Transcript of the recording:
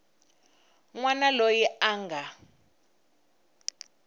n wana loyi a nga